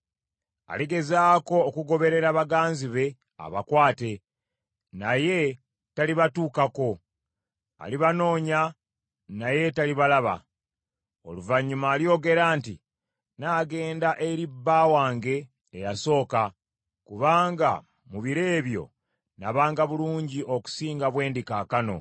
Aligezaako okugoberera baganzi be abakwate, naye talibatuukako, alibanoonya naye talibalaba. Oluvannyuma alyogera nti, “Naagenda eri bba wange eyasooka, kubanga mu biro ebyo nabanga bulungi okusinga bwe ndi kaakano.”